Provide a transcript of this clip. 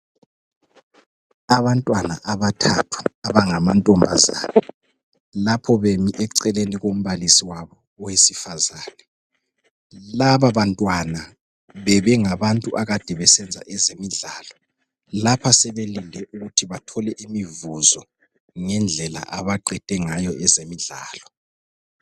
Abantwana abangabathathu abangamantombazana, lapho bemi eceleni kombalisi wabo owesifazana. Laba bantwana bebengabantu abakade besenza ezemidlalo. Lapha sebelinde ukuthi bathole imivuzo ngendlela abaqede ngayo ezemidlalo.